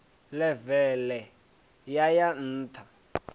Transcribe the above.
ḽeve ḽe ya ya nṱha